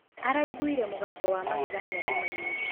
Araĩgũĩre mũgabo wa mageganĩa dũmaĩnĩ.